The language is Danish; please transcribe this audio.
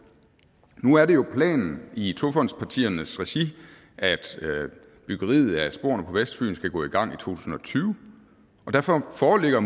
nu er det jo planen i togfondspartiernes regi at byggeriet af sporene på vestfyn skal gå i gang i to tusind og tyve derfor foreligger